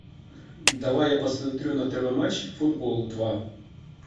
давай я посмотрю на тв матч футбол два